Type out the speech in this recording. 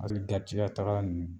Ali darijigɛ tagala ninnu